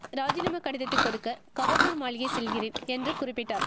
ராஜினாமா கடிதத்தை கொடுக்க கவர்னர் மாளிகை செல்கிறேன் என்று குறிப்பிட்டார்